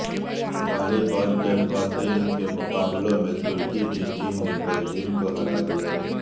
والی بال کےخواتین کے مقابلوں میں ترکی کی ٹیم نے بلجیم کو ہرا دیا